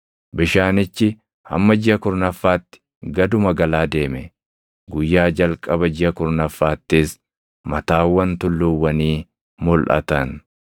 Bishaanichi hamma jiʼa kurnaffaatti gaduma galaa deeme. Guyyaa jalqaba jiʼa kurnaffaattis mataawwan tulluuwwanii mulʼatan.